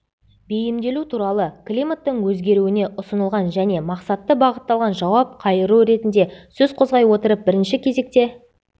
бейімделу туралы климаттың өзгеруіне ұсынылған және мақсатты бағытталған жауап қайыру ретінде сөз қозғай отырып бірінші кезекте